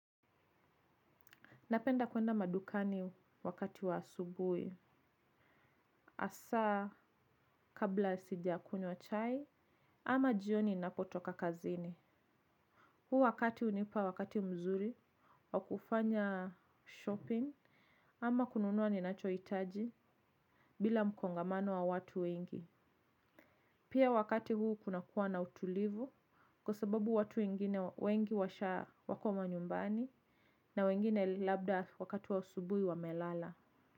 Napenda kwenda madukani wakati wa asubui. Asaa kabla sijakunywa chai ama jioni ninapotoka kazini. Huu wakati unipa wakati mzuri wa kufanya shopping ama kununua ninachoitaji bila mkongamano wa watu wengi. Pia wakati huu kunakuwa na utulivu kwa sababu watu wengine wengi washa wako manyumbani na wengine labda wakati wa asubui wamelala.